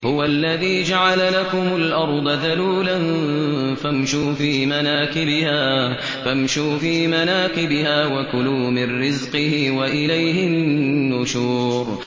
هُوَ الَّذِي جَعَلَ لَكُمُ الْأَرْضَ ذَلُولًا فَامْشُوا فِي مَنَاكِبِهَا وَكُلُوا مِن رِّزْقِهِ ۖ وَإِلَيْهِ النُّشُورُ